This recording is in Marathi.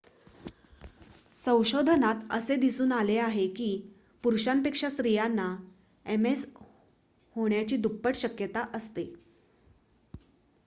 संशोधनात असे दिसून आले आहे की पुरुषांपेक्षा स्त्रियांना एमएस होण्याची दुप्पट शक्यता असते